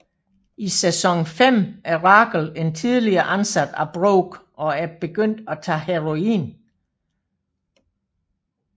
I sæson 5 er Rachel en tidligere ansat af Brooke og er begyndt at tage heroin